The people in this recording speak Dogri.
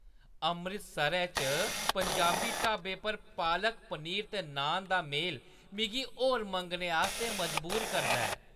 अमृतसरै च पंजाबी ढाबे पर पालक पनीर ते नान दा मेल मिगी होर मंगने आस्तै मजबूर करदा ऐ।